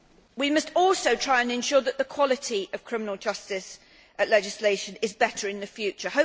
We must also try and ensure that the quality of criminal justice legislation is better in the future.